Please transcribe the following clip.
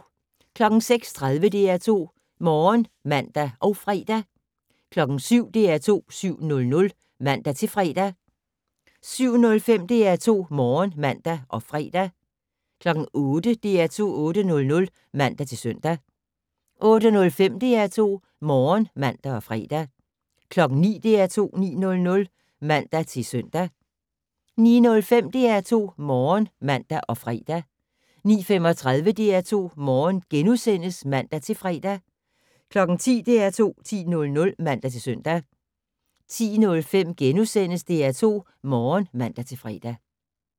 06:30: DR2 Morgen (man og fre) 07:00: DR2 7:00 (man-fre) 07:05: DR2 Morgen (man og fre) 08:00: DR2 8:00 (man-søn) 08:05: DR2 Morgen (man og fre) 09:00: DR2 9:00 (man-søn) 09:05: DR2 Morgen (man og fre) 09:35: DR2 Morgen *(man-fre) 10:00: DR2 10:00 (man-søn) 10:05: DR2 Morgen *(man-fre)